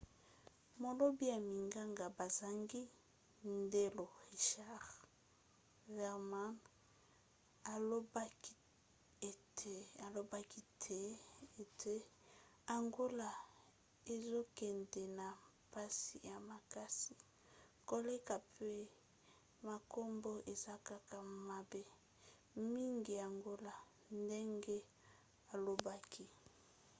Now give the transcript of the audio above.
molobi ya minganga bazangi ndelo richard veerman alobaki ete: angola ezokende na mpasi ya makasi koleka pe makambo eza kaka mabe mingi angola, ndenge alobaki